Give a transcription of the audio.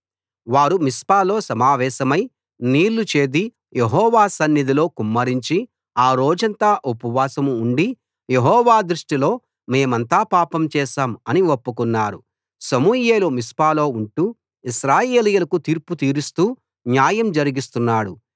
వారు మిస్పాలో సమావేశమై నీళ్లు చేది యెహోవా సన్నిధిలో కుమ్మరించి ఆ రోజంతా ఉపవాసం ఉండి యెహోవా దృష్టిలో మేమంతా పాపం చేశాం అని ఒప్పుకున్నారు సమూయేలు మిస్పాలో ఉంటూ ఇశ్రాయేలీయులకు తీర్పు తీరుస్తూ న్యాయం జరిగిస్తున్నాడు